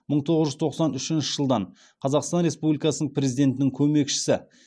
мың тоғыз жүз тоқсан үшінші жылдан қазақстан республикасының президентінің көмекшісі